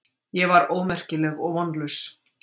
Ég var ómerkileg og vonlaus.